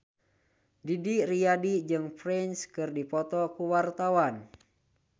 Didi Riyadi jeung Prince keur dipoto ku wartawan